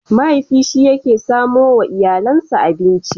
Mahaifi shi ke samo wa iyalinsa abinci.